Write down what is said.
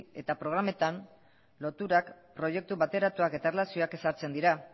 eta programetan loturak proiektu bateratuak eta erlazioak ezartzen dira